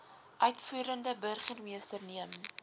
uitvoerende burgermeester neem